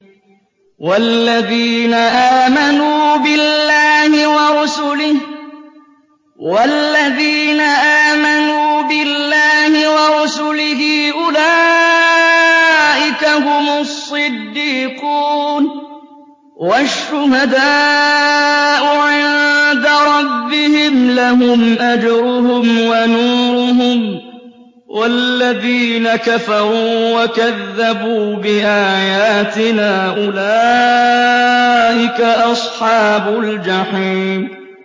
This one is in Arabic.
وَالَّذِينَ آمَنُوا بِاللَّهِ وَرُسُلِهِ أُولَٰئِكَ هُمُ الصِّدِّيقُونَ ۖ وَالشُّهَدَاءُ عِندَ رَبِّهِمْ لَهُمْ أَجْرُهُمْ وَنُورُهُمْ ۖ وَالَّذِينَ كَفَرُوا وَكَذَّبُوا بِآيَاتِنَا أُولَٰئِكَ أَصْحَابُ الْجَحِيمِ